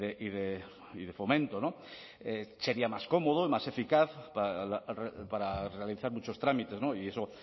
y de fomento sería más cómodo y más eficaz para realizar muchos trámites y eso